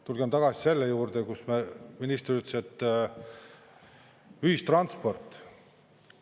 Tulgem tagasi selle juurde, kus minister ütles, et ühistransport.